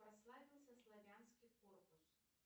прославился славянский корпус